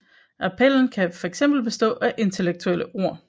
Appellen kan fx bestå af intellektuelle ord